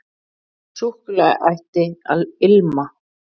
Súkkulaði ætti að ilma.